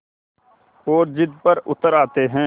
और ज़िद पर उतर आते हैं